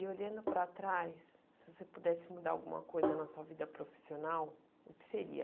E olhando para trás, se você pudesse mudar alguma coisa na sua vida profissional, o que seria?